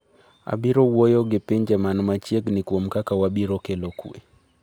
“Abiro wuoyo gi pinje man machiegni kuom kaka wabiro kelo kwe.”